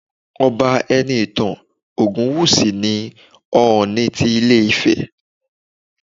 Ọba Enitan Ogunwusi ni Ooni ti ilé Ifẹ